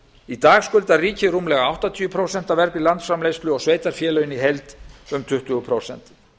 í dag skuldar ríkið rúmlega áttatíu prósent af vergri landsframleiðslu og sveitarfélögin í heild um tuttugu prósent